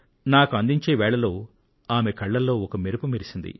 నాకు అందించే వేళలో ఆమె కళ్ళలో ఒక మెరుపు మెరిసింది